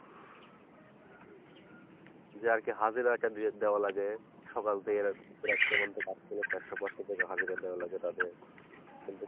যাকে হাজিরা একটা দিয়ে দেয়া লাগে সকাল থেকে হাজারে দেয়া লাগে তাদের কিন্তু,